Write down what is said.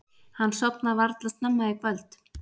Hann sofnar varla snemma í kvöld.